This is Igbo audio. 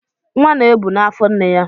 Nwa na-ebu na afọ nne ya.